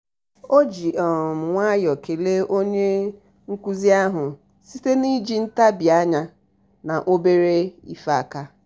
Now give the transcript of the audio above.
ọ ji um nwayọọ kelee onye um nkụzi ahụ site n'iji ntabi um anya na obere ife aka.